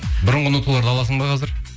бұрынғы ноталарды аласың ба қазір